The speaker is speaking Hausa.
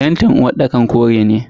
fentin uwarɗakar kore ne.